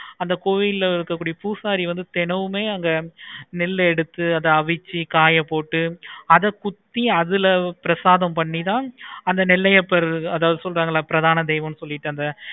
அந்த கோயிலை இருக்க கூடிய பூசாரி வந்து தினமுமே நெல் எடுத்து அத அவிச்சி காய போட்டு அத குத்தி பிரசாதம் பண்ணி தான் நெல்லையப்பர்தாணு சொல்ராங்கலே பிரதான தெய்வம் சொல்லிட்டு அந்த